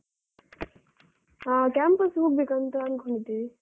ಹಾ campus ಹೋಗ್ಬೇಕು ಅಂತ ಅನ್ಕೊಂಡಿದೀವಿ.